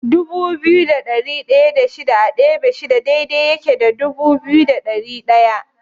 Dubu biyu da ɗari ɗaya da shida a ɗebe shida daidai yake da dubu biyu da ɗari ɗaya.